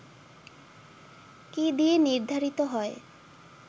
কী দিয়ে নির্ধারিত হয়